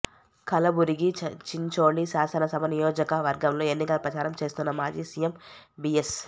కలబురిగి చించోళి శాసన సభ నియోజక వర్గంలో ఎన్నికల ప్రచారం చేస్తున్న మాజీ సీఎం బీఎస్